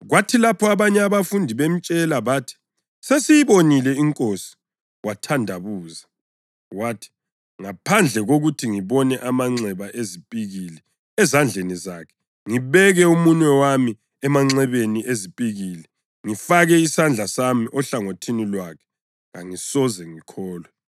Kwathi lapho abanye abafundi bemtshela bathi “sesiyibonile iNkosi,” wathandabuza wathi, “Ngaphandle kokuthi ngibone amanxeba ezipikili ezandleni zakhe ngibeke umunwe wami emanxebeni ezipikili, ngifake isandla sami ehlangothini lwakhe, kangisoze ngikholwe.”